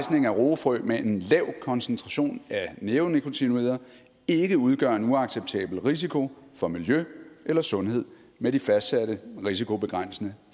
af roefrø med en lav koncentration af neonikotinoider ikke udgør en uacceptabel risiko for miljø eller sundhed med de fastsatte risikobegrænsende